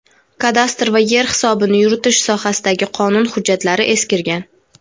Kadastr va yer hisobini yuritish sohasidagi qonun hujjatlari eskirgan.